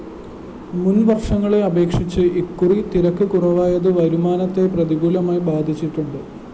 മുന്‍വര്‍ഷങ്ങളെ അപേക്ഷിച്ച് ഇക്കുറി തിരക്ക് കുറവായത് വരുമാനത്തെ പ്രതികൂലമായി ബാധിച്ചിട്ടുണ്ട്